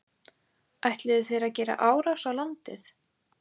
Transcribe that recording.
Ætluðu þeir að gera árás á landið?